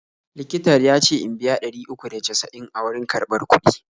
Likitar ya ce in biya ɗari uku da casa'in a wurin karɓar kuɗi.